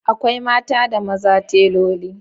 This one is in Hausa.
Akwai mata da maza teloli